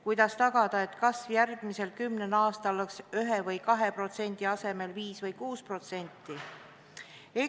Kuidas tagada, et kasv järgmisel kümnel aastal oleks 1% või 2% asemel 5% või 6%?